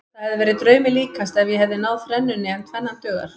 Það hefði verið draumi líkast ef ég hefði náð þrennunni en tvennan dugar.